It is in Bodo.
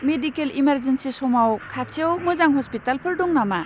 मेडिकेल इमारजेन्सिनि समाव, खाथियाव मोजां हस्पिटालफोर दं नामा?